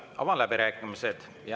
Avan läbirääkimised.